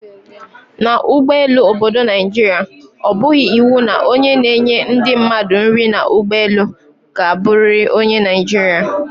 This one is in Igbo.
N' ụgbọelu obodo Naijiria, ọ bụghị iwu na onye na-enye ndị mmadụ nri n' ụgbọelu ka abụriri onye Naijirịa